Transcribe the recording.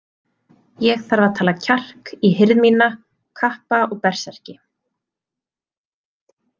Ég þarf að tala kjark í hirð mína, kappa og berserki.